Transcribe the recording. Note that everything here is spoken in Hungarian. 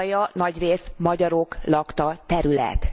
Kárpátalja nagyrészt magyarok lakta terület.